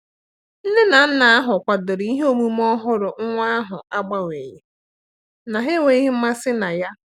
Nne na nna ahụ kwadoro ihe omume ọhụrụ nwa ahụ n'agbanyeghị na ha enweghị mmasị na ya.